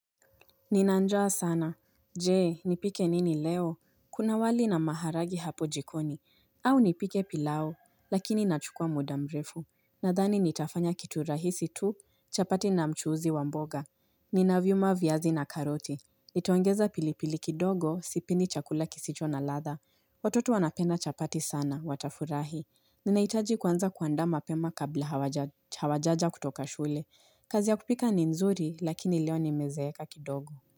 Nina njaa sana. Je, nipike nini leo? Kuna wali na maharagi hapo jikoni. Au nipike pilau, lakini inachukua muda mrefu. Nadhani nitafanya kitu rahisi tu, chapati na mchuuzi wa mboga. Ninavyuma viazi na karoti. Nitaongeza pilipili kidogo, sipendi chakula kisicho na ladha. Watoto wanapenda chapati sana, watafurahi. Ninaitaji kwanza kuandaa mapema kabla hawajaja kutoka shule. Kazi ya kupika ni nzuri lakini leo nimezeeka kidogo.